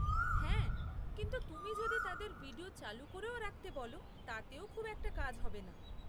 হ্যাঁ, কিন্তু তুমি যদি তাদের ভিডিও চালু করেও রাখতে বলো তাতেও খুব একটা কাজ হবে না।